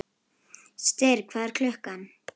Styrr, hvað er klukkan?